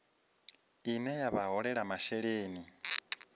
ine ya vha holela masheleni